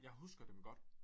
Jeg husker dem godt